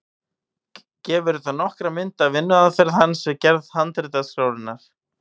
Gefur þetta nokkra mynd af vinnuaðferð hans við gerð handritaskrárinnar.